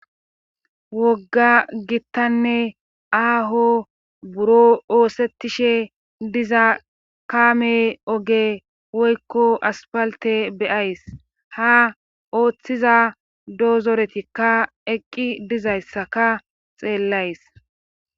wogga gittanne aaho buro oosettishe diza kaame oge woykko aspalte beyays ha ooththiza doozoretikka eqqi dizayssaka xeellays